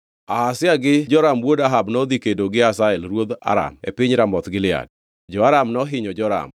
Ahazia gi Joram wuod Ahab nodhi kedo gi Hazael ruodh Aram e piny Ramoth Gilead. Jo-Aram nohinyo Joram;